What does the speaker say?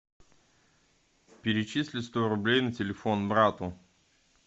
перечисли сто рублей на телефон брату